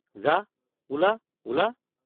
যা—ওলা—ওলা।